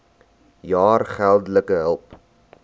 jaar geldelike hulp